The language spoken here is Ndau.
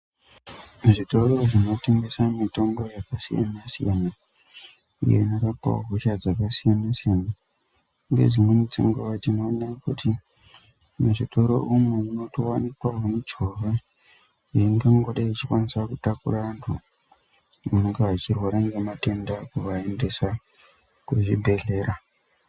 Muzvitoro zvinotengese mitombo yakasiyana siyana iyo inorapawo hosha dzakasiyana siyana. Ngedzimweni dzenguwa tinoone kuti muzvitoro umwu munotowanikwawo michovha iyo ingangodai ichikwanisa kutakura vantu vanenge vachirwara nematenda kuvaendeda kuzvibhedhlera.